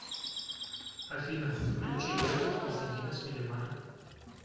афина включи лего константина смилемана